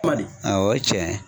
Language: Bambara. Ma di? awɔ o ye tiɲɛ ye.